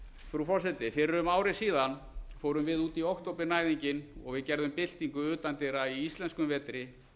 frú forseti fyrir um ári síðan fórum við út í októbernæðinginn og gerðum byltingu utandyra í íslenskum vetri